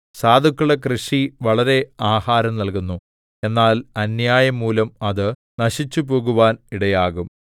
സാധുക്കളുടെ കൃഷി വളരെ ആഹാരം നല്കുന്നു എന്നാൽ അന്യായം മൂലം അത് നശിച്ചുപോകുവാൻ ഇടയാകും